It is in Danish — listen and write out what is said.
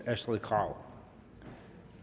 astrid krag